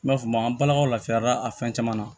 N b'a f'o ma an balakaw lafiyara a fɛn caman na